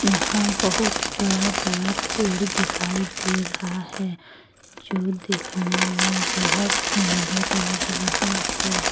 यहां बहुत बड़ा बड़ा पेड़ दिखाई दे रहा है जो दिखने में बहुत सुंदर लग रहा है।